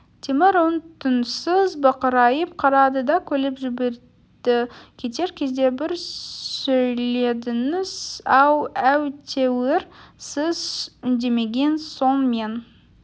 темір үн-түнсіз бақырайып қарады да күліп жіберді кетер кезде бір сөйледіңіз-ау әйтеуір сіз үндемеген соң мен